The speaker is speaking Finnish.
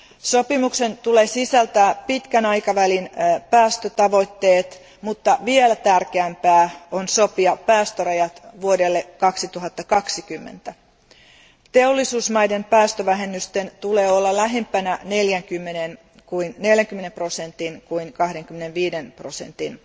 Sopimuksen pitää sisältää pitkän aikavälin päästötavoitteet, mutta vielä tärkeämpää on sopia päästörajat vuodelle 2020. Teollisuusmaiden päästövähennysten on oltava lähempänä 40 prosentin kuin 25 prosentin